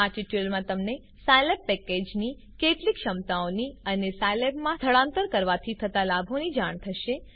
આ ટ્યુટોરીયલમાં તમને સ્કિલાબ પેકેજની કેટલીક ક્ષમતાઓની અને સ્કિલાબ માં સ્થળાંતર કરવાથી થતા લાભોની જાણ થશે